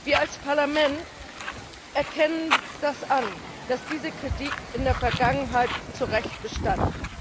Wir als Parlament erkennen das an, dass diese Kritik in der Vergangenheit zu Recht bestand.